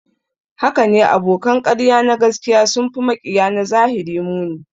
Hakane, abokan ƙarya na gaskiya sun fi maƙiya na zahiri muni